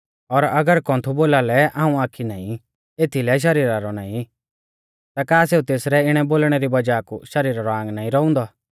और अगर कौन्थु बोलालै हाऊं आखी नाईं एथीलै शरीरा रौ नाईं ता का सेऊ तेसरै इणै बोलणै री वज़ाह कु शरीरा रौ आंग नाईं रौउंदौ